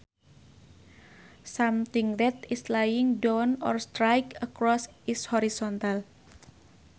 Something that is lying down or straight across is horizontal